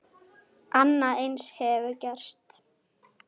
Annað eins hefur gerst.